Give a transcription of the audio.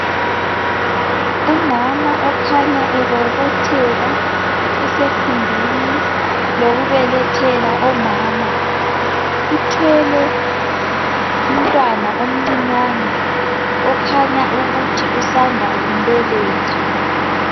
Umama okhanya ebobotheka esekhumbini lokubelethela omama. Uthwele umntwana omncinyane okhanya ukuthi usanda kumbeletha.